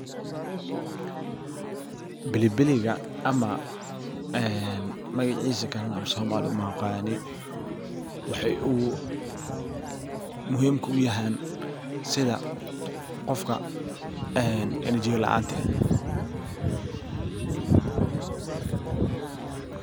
bilibiliga ama ee magaciisa kalana af-somali uma aqaani waxay muhiimka u yahan sida qofka ee energy ga laanta.